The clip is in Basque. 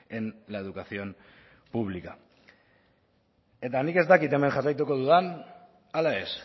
en la educación pública eta nik ez dakit hemen jarraituko dudan ala ez